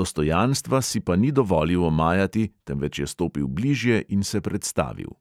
dostojanstva si pa ni dovolil omajati, temveč je stopil blijže in se predstavil.